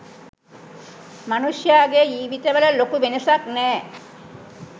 මනුෂ්‍යයාගේ ජීවිතවල ලොකු වෙනසක් නෑ.